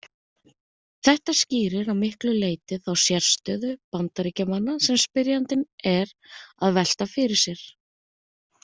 Þetta skýrir að miklu leyti þá sérstöðu Bandaríkjamanna sem spyrjandi er að velta fyrir sér.